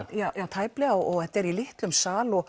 tæplega og þetta er í litlum sal